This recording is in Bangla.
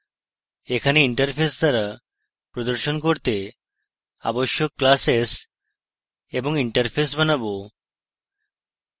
এখানে interface দ্বারা প্রদর্শন করতে আবশ্যক classes এবং interface বানাবো